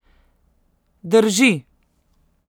Drži.